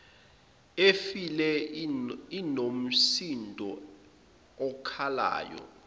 efile inomsindo okhalayo